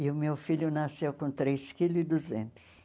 E o meu filho nasceu com três quilo e duzentos